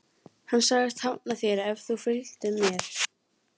Hann sagðist hafna þér ef þú fylgdir mér.